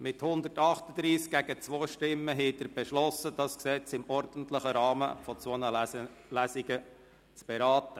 Mit 138 gegen 2 Stimmen haben Sie beschlossen, dieses Gesetz im ordentlichen Rahmen von zwei Lesungen zu beraten.